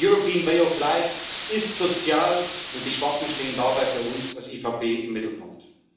Der European Way of Live ist sozial, und die Schwachen stehen dabei für uns als EVP im Mittelpunkt.